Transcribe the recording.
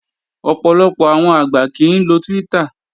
Ọ̀pọ̀lọpọ̀ àwọn àgbà kìí ń lo Twitter